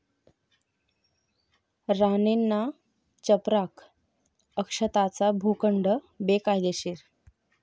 राणेंना चपराक, 'अक्षता'चा भूखंड बेकायदेशीर